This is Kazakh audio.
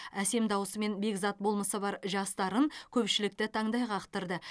әсем дауысы мен бекзат болмысы бар жас дарын көпшілікті таңдай қақтырды